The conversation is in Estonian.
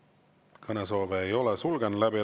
Juhtivkomisjoni ettepanek on eelnõu 613 esimene lugemine lõpetada.